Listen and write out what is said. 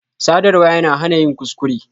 Sadarwa yana hana yin kuskure.